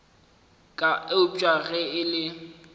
ka eupša ge e le